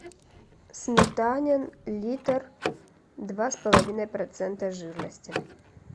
сметанин литр два с половиной процента жирности